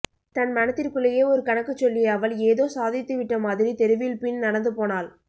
தன் மனதிற்குள்ளேயே ஒரு கணக்குச் சொல்லிய அவள் ஏதோ சாதித்து விட்டமாதிரி தெருவில் பின் நடந்துபோனாள்